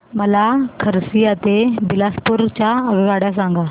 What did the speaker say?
मला खरसिया ते बिलासपुर च्या आगगाड्या सांगा